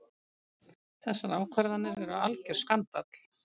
Þessar ákvarðanir eru algjör skandall.